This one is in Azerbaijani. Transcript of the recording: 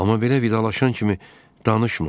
Amma belə vidalaşan kimi danışma.